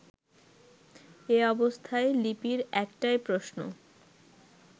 এ অবস্থায় লিপির একটাই প্রশ্ন